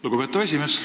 Lugupeetav esimees!